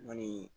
Ni